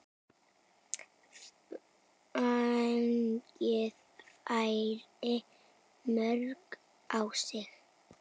Fengið færri mörk á sig?